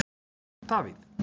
Davíð